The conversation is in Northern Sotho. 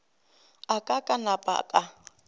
a ka ka napa ka